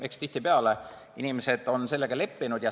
Eks tihtipeale inimesed on sellega leppinud.